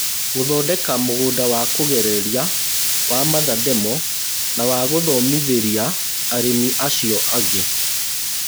Gũthondeka mũgũnda wa kũgereria wa mother demo wa gũthomithĩria arĩmi a cio angĩ.